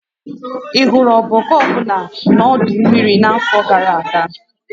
Ị hụrụ ọbọgwụ ọ bụla na ọdọ mmiri n'afọ gara aga?